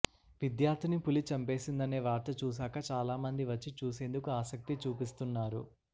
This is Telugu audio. విద్యార్థిని పులి చంపేసిందనే వార్త చూశాక చాలామంది వచ్చి చూసేందుకు ఆసక్తి చూపిస్తున్నారు